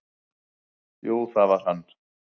"""Jú, það var hann!"""